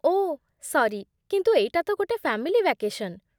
ଓଃ sorry, କିନ୍ତୁ ଏଇଟା ତ ଗୋଟେ ଫ୍ୟାମିଲି ଭ୍ୟାକେଶନ୍।